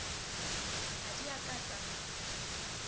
ha di a ka tsa